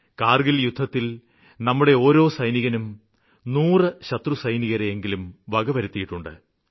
കാര്ഗില് യുദ്ധത്തില് നമ്മുടെ ഓരോ സൈനികനും നൂറ് ശത്രുസൈനികരെയെങ്കിലും വകവരുത്തിയിട്ടുണ്ട്